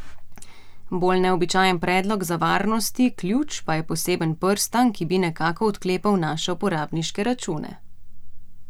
Bolj neobičajen predlog za varnosti ključ pa je poseben prstan, ki bi nekako odklepal naše uporabniške račune.